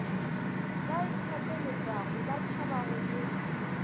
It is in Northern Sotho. ba ithapeletšago ba tšhabago go